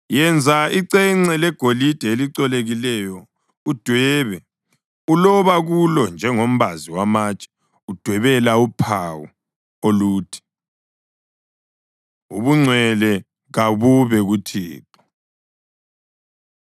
Yenza icence legolide elicolekileyo udwebe, uloba kulo njengombazi wamatshe udwebela uphawu oluthi: Ubungcwele kabube kuThixo.